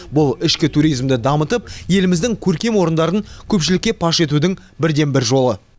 бұл ішкі туризмді дамытып еліміздің көркем орындарын көпшілікке паш етудің бірден бір жолы